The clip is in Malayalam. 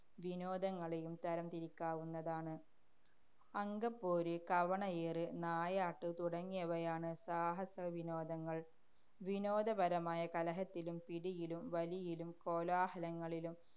വിനോദങ്ങളെയും തരംതിരിക്കാവുന്നതാണ്. അങ്കപ്പോര്, കവണയേറ്, നായാട്ട് തുടങ്ങിയവയാണ് സാഹസവിനോദങ്ങള്‍. വിനോദപരമായ കലഹത്തിലും പിടിയിലും വലിയിലും കോലാഹലങ്ങളിലും